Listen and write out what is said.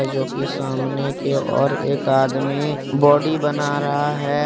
जोकि सामने के ओर एक आदमी बॉडी बना रहा है।